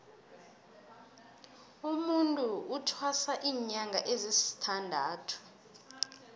umutu uthwasa linyanga ezisithandathu